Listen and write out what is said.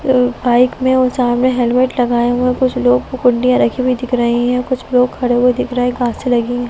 bike मे और सामने हेलमेट लगाया हुआ कुछ लोग रखी हुई है दिख रही है कुछ लोग खड़े हुए दिख रहे गाछे लगी --